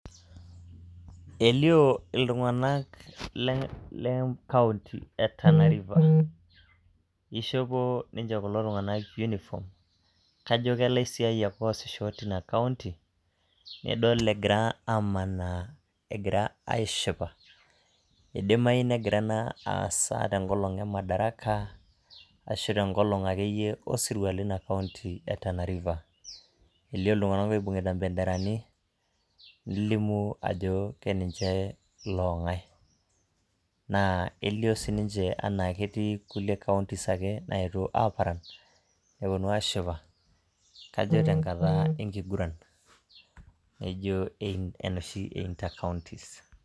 elio iltung'anka le county ee Tana River, ishopo ninje kulo tung'anak uniform kajo keilaisiayiak oasisho teina county nidol egira amanaa egira ashipa eidimayu negira ena aasa te nkolong' ee madaraka ashu tenkolong' ake iyie lo sirua leina county eee Tana River elioo iltung'anak oibung'ita imbenderani nelimu ajo keninche loo ng'ae naa elio sii ninje anaa ketii kulie counties ake naetuo aparan, nepuonu ashipa kajo tenkata enkiguran naijo enoshi ee inter counties.